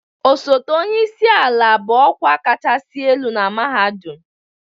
Osote onye isi ala bụ ọkwa kachasị elu na mahadum